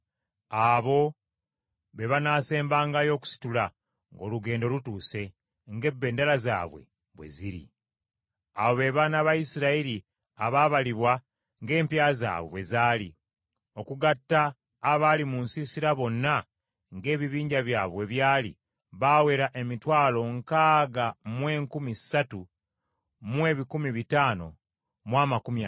Abo be baana ba Isirayiri abaabalibwa ng’empya zaabwe bwe zaali. Okugatta abaali mu nsiisira bonna ng’ebibinja byabwe bwe byali, baawera emitwalo nkaaga mu enkumi ssatu mu ebikumi bitaano mu amakumi ataano (603,550).